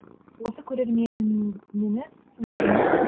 осы көрермен ніңіз тыңдарман да